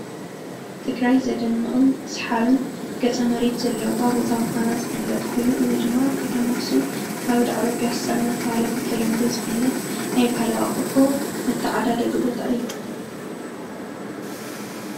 ትግራይ ዘደንቕን ሰሓብን ገፀ መሬት ዘለዋ ቦታ ምዃና ዝፍለጥ ኮይኑ፣ እዚ ድማ ኣብ ከተማ ኣክሱም ካብ ዳዕሮ ፕያሳ እንዳተባህለ ብተለምዶ ዝፍለጥ ናይ ባህላዊ ኣቑሑ መተዓዳደጊ ቦታ እዩ፡፡